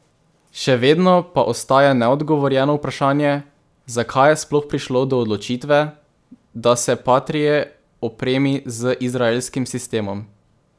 Še vedno pa ostaja neodgovorjeno vprašanje, zakaj je sploh prišlo do odločitve, da se patrie opremi z izraelskim sistemom.